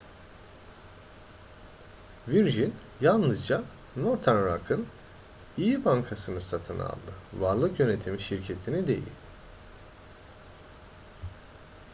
virgin yalnızca northern rock'ın iyi bankasını satın aldı varlık yönetimi şirketini değil